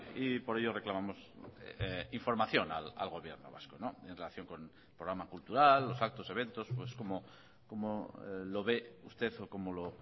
y por ello reclamamos información al gobierno vasco en relación con el programa cultural los actos eventos pues cómo lo ve usted o como lo